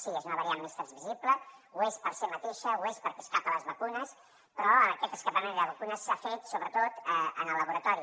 sí és una variant més transmissible ho és per si mateixa ho és perquè escapa a les vacunes però aquest escapament a les vacunes s’ha fet sobretot en el laboratori